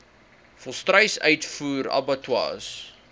volstruis uitvoer abattoirs